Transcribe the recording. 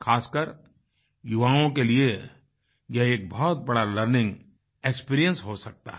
खासकर युवाओं के लिए यह एक बहुत बड़ा लर्निंग एक्सपीरियंस हो सकता है